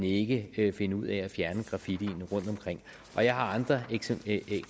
ikke kan finde ud af at fjerne graffiti rundtomkring jeg har andre